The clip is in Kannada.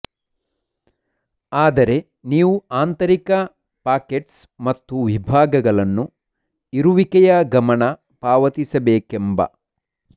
ಆದರೆ ನೀವು ಆಂತರಿಕ ಪಾಕೆಟ್ಸ್ ಮತ್ತು ವಿಭಾಗಗಳನ್ನು ಇರುವಿಕೆಯ ಗಮನ ಪಾವತಿಸಬೇಕೆಂಬ